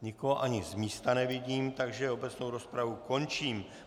Nikoho ani z místa nevidím, takže obecnou rozpravu končím.